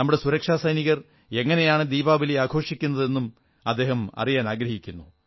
നമ്മുടെ സുരക്ഷാ സൈനികർ എങ്ങനെയാണ് ദീപാവലി ആഘോഷിക്കുന്നത് എന്നും അദ്ദേഹം അറിയാനാഗ്രഹിക്കുന്നു